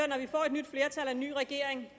nyt flertal og en ny regering